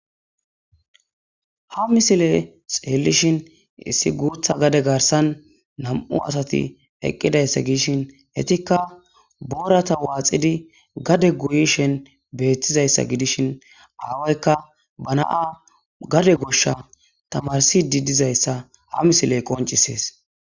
ha misile xeellishin issi guutha gade garsan nam7u asati eqqidayssa gidishin etikka boorata waaxidi gade guyishen beettizayssa gidishin aawoykka ba na7a gade goshsha tamarsidi dizayssa ha misiley qoncisees